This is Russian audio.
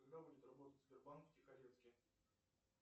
когда будет работать сбербанк в тихорецке